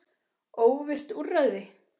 Óvirkt úrræði?